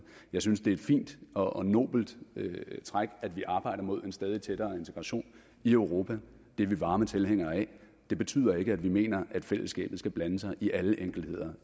jeg synes det er et fint og nobelt træk at vi arbejder mod en stadig tættere integration i europa det er vi varme tilhængere af det betyder ikke at vi mener at fællesskabet skal blande sig i alle enkeltheder